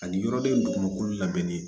Ani yɔrɔden dugumakolo labɛnnen ye